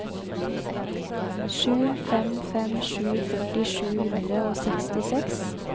sju fem fem sju førti sju hundre og sekstiseks